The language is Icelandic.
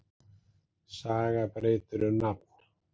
Saga breytir um nafn